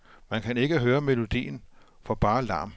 Man kan ikke høre melodien for bare larm.